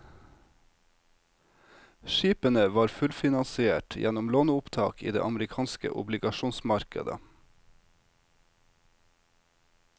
Skipene var fullfinansiert gjennom låneopptak i det amerikanske obligasjonsmarkedet.